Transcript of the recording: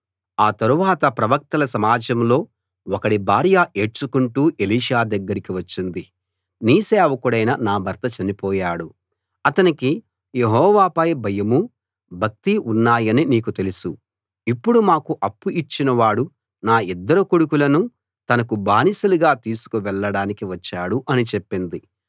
ఆ తరువాత ప్రవక్తల సమాజంలో ఒకడి భార్య ఏడ్చుకుంటూ ఎలీషా దగ్గరికి వచ్చింది నీ సేవకుడైన నా భర్త చనిపోయాడు అతనికి యెహోవాపై భయమూ భక్తీ ఉన్నాయని నీకు తెలుసు ఇప్పుడు మాకు అప్పు ఇచ్చిన వాడు నా ఇద్దరు కొడుకులనూ తనకు బానిసలుగా తీసుకు వెళ్ళడానికి వచ్చాడు అని చెప్పింది